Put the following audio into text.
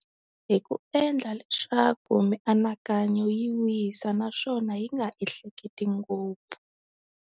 Hi ku endla leswaku mianakanyo yi wisa naswona yi nga ehleketi ngopfu.